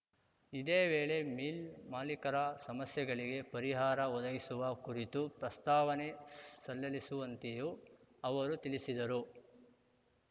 ಇದೇ ವೇಳೆ ಮಿಲ್‌ ಮಾಲಿಕರ ಸಮಸ್ಯೆಗಳಿಗೆ ಪರಿಹಾರ ಒದಗಿಸುವ ಕುರಿತು ಪ್ರಸ್ತಾವನೆ ಸಲ್ಲಲ್ಲಿಸುವಂತೆಯೂ ಅವರು ತಿಳಿಸಿದರು